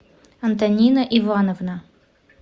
антонина ивановна